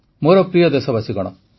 ମୋର ପ୍ରିୟ ଦେଶବାସୀଗଣ